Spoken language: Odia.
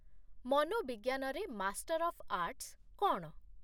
ମନୋବିଜ୍ଞାନରେ ମାଷ୍ଟର ଅଫ୍ ଆର୍ଟସ୍ କ'ଣ?